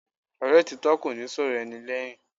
Ọ̀rẹ́ òtítọ́ kò ní sọ̀rọ̀ ẹni lẹ́yìn.